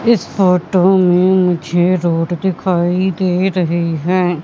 इस फोटो में मुझे रोड दिखाई दे रहे हैं।